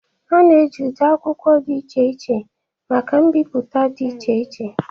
A na-eji ụdị akwụkwọ dị iche iche maka mbipụta dị iche iche